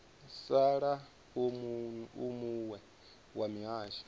sala u muwe wa mihasho